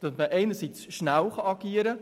So kann man einerseits schnell agieren.